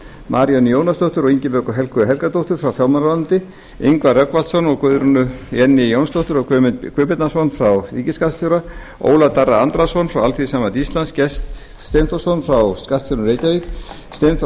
maríönnu jónasdóttur og ingibjörgu helgu helgadóttur frá fjármálaráðuneyti ingvar rögnvaldsson guðrúnu jenný jónsdóttur og guðmund guðbjarnason frá ríkisskattstjóra ólaf darra andrason frá alþýðusambandi íslands gest steinþórsson frá skattstjóranum í reykjavík steinþór